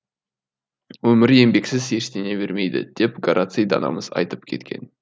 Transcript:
өмір еңбексіз ештеңе бермейді деп гораций данамыз айтып кеткен